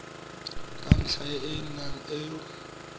ka ntlha ya eng o